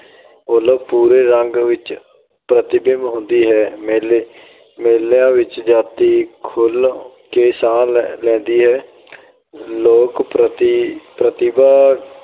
ਵੱਲੋਂ ਪੂਰੇ ਰੰਗ ਵਿੱਚ ਪ੍ਰਤੀਬਿੰਬ ਹੁੰਦੀ ਹੈ। ਮੇਲੇ- ਮੇਲਿਆਂ ਵਿੱਚ ਜਾਤੀ ਖੁੱਲ੍ਹ ਕੇ ਸਾਹ ਲੈਂਦੀ ਹੈ। ਲੋਕ ਪ੍ਰਤਿ ਅਹ ਪ੍ਰਤਿਭਾ